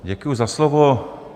Děkuji za slovo.